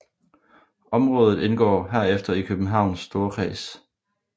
Området indgår herefter i Københavns Storkreds